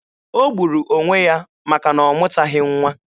O gburu onwe ya maka na ọ mụtaghị nwa.